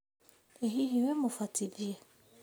ĩ hihi wĩ mũbatithie?